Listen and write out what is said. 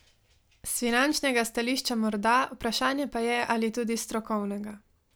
S finančnega stališča morda, vprašanje pa je, ali tudi s strokovnega.